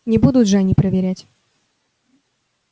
не будут же они проверять